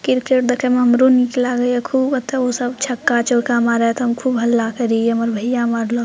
cricket देखे में हमरो निक लागय खूब ओते उ सब छक्का चौका मारे ये ते हम खूब हल्ला करइये हमर भइया मारलक --